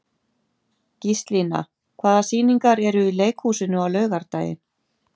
Gíslína, hvaða sýningar eru í leikhúsinu á laugardaginn?